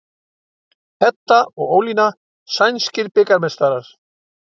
Edda og Ólína sænskir bikarmeistarar